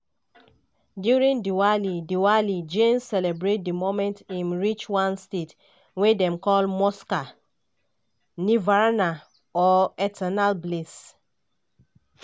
during diwali diwali jains celebrate di moment im reach one state wey dem call moksha (nirvana or eternal bliss).